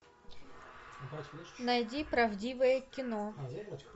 найди правдивое кино